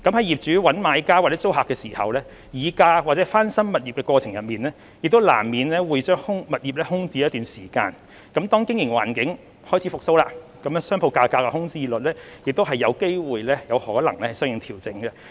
業主找買家或租客時，議價或翻新物業的過程中，難免會將物業空置一段時間，當經營環境開始復蘇，商鋪價格和空置率亦有機會相應調整。